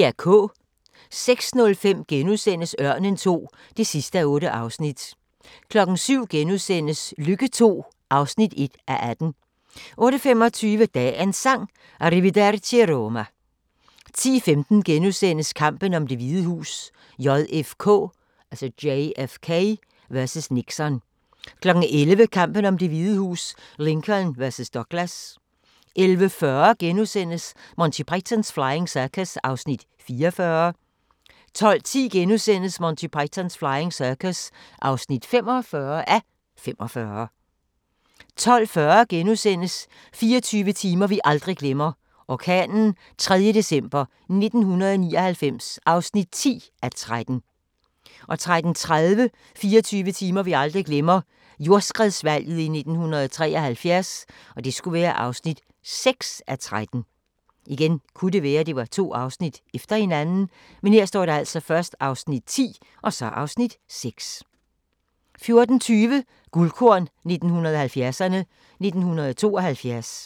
06:05: Ørnen II (8:8)* 07:00: Lykke II (1:18)* 08:25: Dagens Sang: Arrivederci Roma 10:15: Kampen om Det Hvide Hus: JFK vs. Nixon * 11:00: Kampen om Det Hvide Hus: Lincoln vs. Douglas 11:40: Monty Python's Flying Circus (44:45)* 12:10: Monty Python's Flying Circus (45:45)* 12:40: 24 timer vi aldrig glemmer – orkanen 3. december 1999 (10:13)* 13:30: 24 timer vi aldrig glemmer – jordskredsvalget i 1973 (6:13) 14:20: Guldkorn 1970'erne: 1972